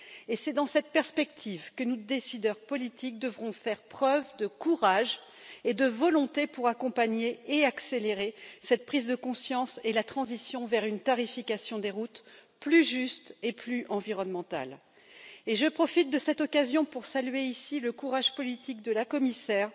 Et c'est dans cette perspective que nous, décideurs politiques, devrons faire preuve de courage et de volonté pour accompagner et accélérer cette prise de conscience et la transition vers une tarification des routes plus juste et plus environnementale Et je profite de cette occasion pour saluer ici le courage politique de la Commissaire